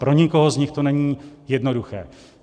Pro nikoho z nich to není jednoduché.